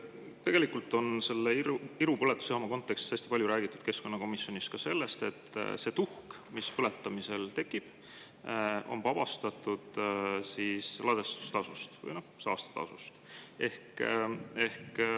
Tegelikult on selle Iru põletusjaama kontekstis hästi palju räägitud keskkonnakomisjonis ka sellest, et see tuhk, mis põletamisel tekib, on vabastatud ladestustasust, või noh, saastetasust.